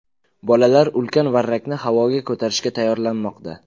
Bolalar ulkan varrakni havoga ko‘tarishga tayyorlanmoqda.